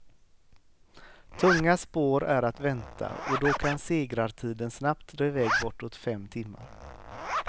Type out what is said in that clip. Tunga spår är att vänta, och då kan segrartiden snabbt dra iväg bortåt fem timmar.